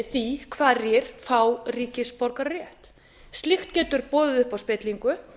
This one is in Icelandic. því hverjir fá ríkisborgararétt slíkt getur boðið upp á spillingu